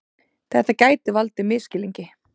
Þetta geti hafa valdið misskilningi